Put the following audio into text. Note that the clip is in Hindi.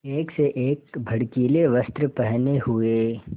एक से एक भड़कीले वस्त्र पहने हुए